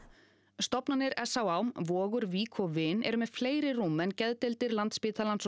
stofnanir s á á vogur Vík og vin eru með fleiri rúm en geðdeildir Landspítalans og